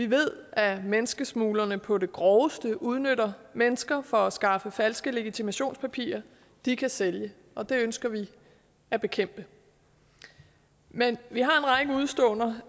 ved at menneskesmuglerne på det groveste udnytter mennesker for at skaffe falske legitimationspapirer de kan sælge og det ønsker vi at bekæmpe men vi har en række udeståender